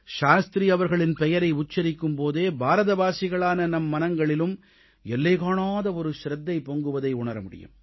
சாஸ்திரி அவர்களின் பெயரை உச்சரிக்கும் போதே பாரதவாசிகளான நம் மனங்களிலும் எல்லைகாணாத ஒரு சிரத்தை பொங்குவதை உணர முடியும்